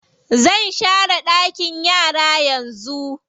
Zan share ɗakin yara yanzu.